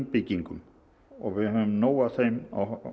byggingum og við höfum nóg af þeim